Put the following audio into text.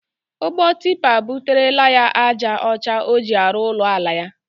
Ụgbọ tipa buterele ya ájá ọcha ọ ji arụ ụlọ ala ya.